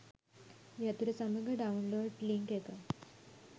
යතුර සමඟ download link එක